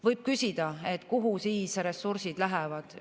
Võib küsida, et kuhu siis ressursid lähevad.